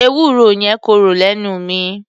Ewúro yẹn korò lẹ́nu mi.